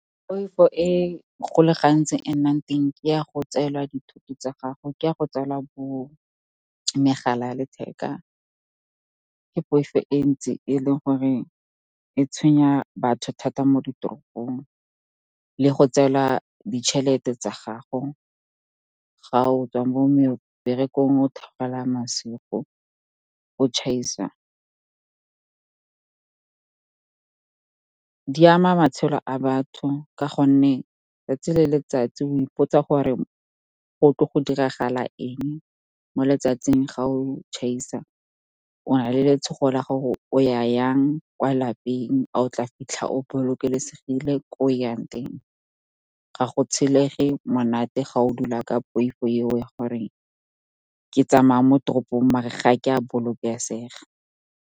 Poifo e go le gantsi e nnang teng ke ya go tselwa dithoto tsa gago, ke ya go tselwa bo megala ya letheka, ke poifo e ntsi e leng gore e tshwenya batho thata mo ditoropong. Le go tselwa ditšhelete tsa gago ga o tswa mo meberekong, o theogela masigo, o tšhaisa. Di ama matshelo a batho ka gonne 'tsatsi le letsatsi o ipotsa gore go tlo go diragala eng mo letsatsing ga o tšhaisa. O na le letshogo la gore o ya yang kwa lapeng, a o tla fitlha o bolokesegile ko o yang teng. Ga go tshelege monate ga o dula ka poifo eo ya gore, ke tsamaya mo toropong mara ga ke a bolokesega.